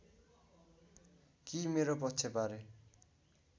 कि मेरो पक्षबारे